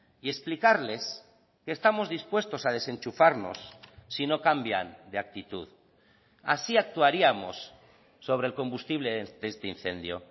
y explicarles que estamos dispuestos a desenchufarnos si no cambian de actitud así actuaríamos sobre el combustible de este incendio